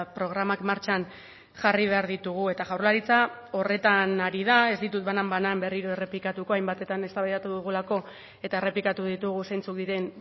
programak martxan jarri behar ditugu eta jaurlaritza horretan ari da ez ditut banan banan berriro errepikatuko hainbatetan eztabaidatu dugulako eta errepikatu ditugu zeintzuk diren